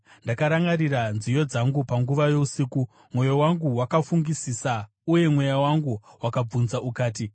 ndakarangarira nziyo dzangu panguva yousiku. Mwoyo wangu wakafungisisa uye mweya wangu wakabvunza ukati,